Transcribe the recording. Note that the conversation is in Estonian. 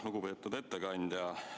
Lugupeetud ettekandja!